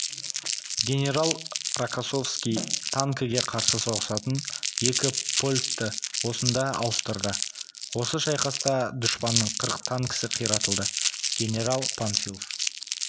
генерал рокоссовский танкіге қарсы соғысатын екі полкті осында ауыстырды осы шайқаста дұшпанның қырық танкісі қиратылды генерал панфилов